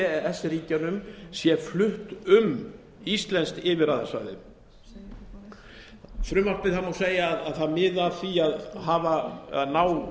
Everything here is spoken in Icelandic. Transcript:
e s ríkjunum sé flutt um íslenskt yfirráðasvæði það má segja að frumvarpið miði að því að ná